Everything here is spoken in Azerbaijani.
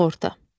Sığorta.